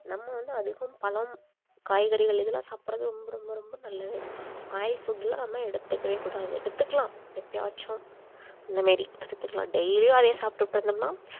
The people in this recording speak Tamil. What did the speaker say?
நம்ம வந்து அதிகம் பழம், காய்கறிகள் இதெல்லாம் சாப்பிடுறது ரொம்ப ரொம்ப ரொம்ப நல்லது oil food எல்லாம் தான் எடுத்துக்கவே கூடாது எடுத்துக்கலாம் எப்பயாச்சும் அந்த மாரி அதுக்குதான் daily உம் அதையே சாப்டிட்டு இருந்தோம்னா